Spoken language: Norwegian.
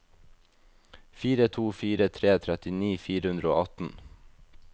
fire to fire tre trettini fire hundre og atten